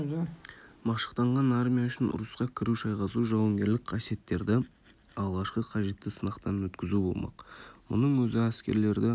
машықтанған армия үшін ұрысқа кіру шайқасу жауынгерлік қасиеттерді алғашқы қажетті сынақтан өткізу болмақ мұның өзі әскерлерді